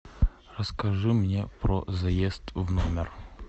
расскажи мне про заезд в номер